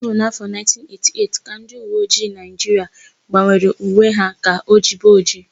Ọ bụ n'áfọ̀ 1988 ka ndịuweojii Naịjiria gbanwere uwe ha ka ojibe ojii.